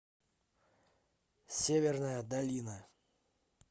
северная долина